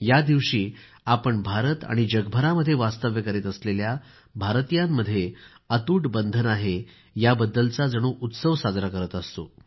या दिवशी आपण भारत आणि जगभरामध्ये वास्तव्य करीत असलेल्या भारतीयांमध्ये अतूट बंधन आहे त्याबद्दल जणू उत्सव साजरा करत असतो